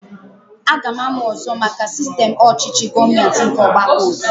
Aga m amụ ọzọ maka sistem ọchịchị gọọmenti nke ọgbakọotu